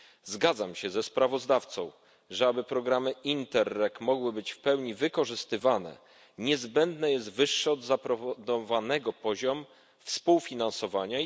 Zgadzam się ze sprawozdawcą, że aby programy Interreg mogły być w pełni wykorzystywane, niezbędny jest wyższy od zaproponowanego poziom współfinansowania.